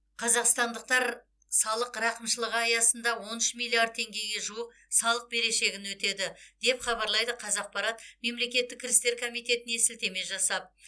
қазақстандықтар салық рақымшылығы аясында он үш миллиард теңгеге жуық салық берешегін өтеді деп хабарлайды қазақпарат мемлекеттік кірістер комитетіне сілтеме жасап